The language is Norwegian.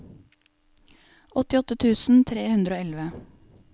åttiåtte tusen tre hundre og elleve